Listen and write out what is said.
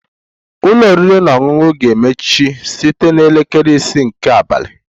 Ụlọ oriri na ọṅụṅụ ga-emechi site na elekere ise nke abalị